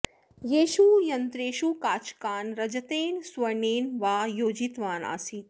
तेषु यन्त्रेषु काचकान् रजतेन सुवर्णेन वा योजितवान् आसीत्